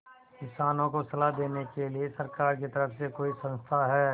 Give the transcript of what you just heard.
किसानों को सलाह देने के लिए सरकार की तरफ से कोई संस्था है